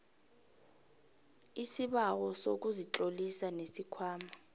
isibawo sokuzitlolisa nesikhwama